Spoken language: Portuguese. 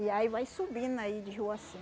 E aí vai subindo aí de rua assim.